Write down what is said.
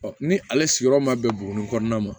ni ale sigiyɔrɔ ma bɛn buguni kɔnɔna ma